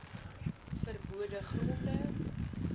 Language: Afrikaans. ver bode gronde